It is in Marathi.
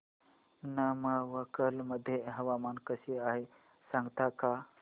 नमक्कल मध्ये हवामान कसे आहे सांगता का